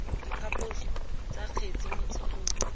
diphaposo tsa kgetse mo tshekong